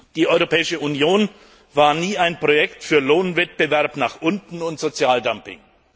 Die Europäische Union war nie ein Projekt für Lohnwettbewerb nach unten und Sozialdumping.